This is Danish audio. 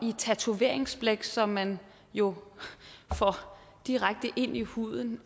i tatoveringsblæk som man jo får direkte ind i huden